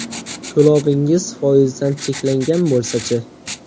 To‘lovingiz foizdan cheklangan bo‘lsachi?